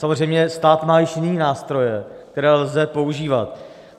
Samozřejmě stát má již jiné nástroje, které lze používat.